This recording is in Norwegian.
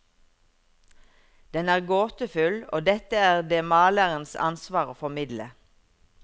Den er gåtefull, og dette er det malerens ansvar å formidle.